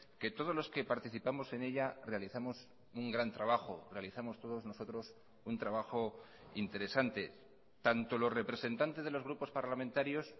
que todos los que participamos en ella realizamos un gran trabajo realizamos todos nosotros un trabajo interesante tanto los representantes de los grupos parlamentarios